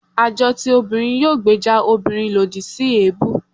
àjọ ti ọmọbìnrin yóò gbèjà òbirin lodì si ebú